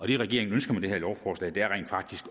det regeringen ønsker med det her lovforslag er rent faktisk